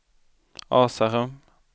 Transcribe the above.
Asarum